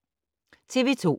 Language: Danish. TV 2